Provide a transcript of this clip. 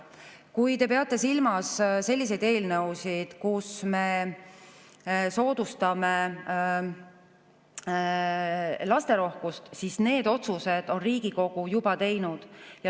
Kui te peate silmas selliseid eelnõusid, kus me soodustame lasterohkust, siis need otsused on Riigikogu juba teinud.